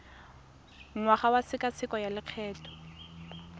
ngwaga wa tshekatsheko ya lokgetho